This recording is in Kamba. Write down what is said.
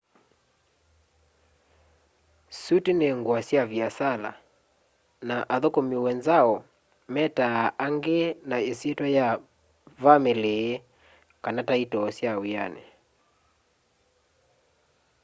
suti ni ngua sya viasala na athukumi wenzao metaa aangi na isyitwa ya vamili kana taitoo ya wiani